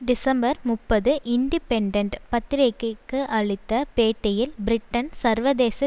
December முப்பது Independent பத்திரிகைக்கு அளித்த பேட்டியில் பிரிட்டனின் சர்வதேச